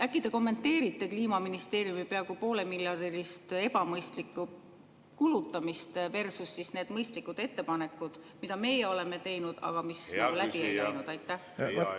Äkki te kommenteerite Kliimaministeeriumi peaaegu poole ebamõistlikku kulutamist versus need mõistlikud ettepanekud, mis meie oleme teinud, aga mis läbi ei läinud?